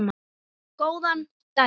Góðan daginn!